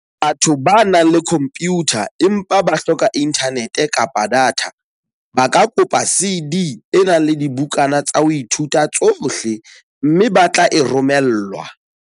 Batho ba nang le khompiyutha empa ba hloka inthanete kapa data, ba ka kopa CD e nang le dibukana tsa ho ithuta tsohle, mme ba tle e romellwa.